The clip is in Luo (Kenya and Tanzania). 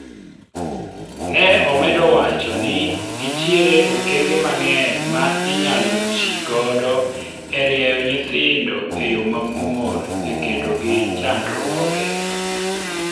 ne omedo wacho ni nitiere okenge mang'eny ma inyalo tigodo e rieyo nyithindo e yo mamuol ekedo gi chandruoge ,